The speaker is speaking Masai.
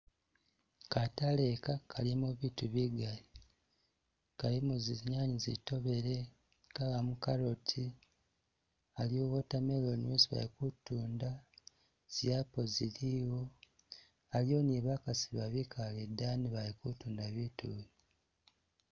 Kataale ika kalimo biitu bigaali, kalimo zinyanye zi'tobele kabamo carrot, aliwo watermelon isi bakutunda, zi apple ziliwo, aliwo ni bakaasi ba bikaale idaani bali kutunda bitu ibi.